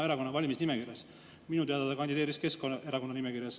[Minu teada kandideeris ta Keskerakonna nimekirjas.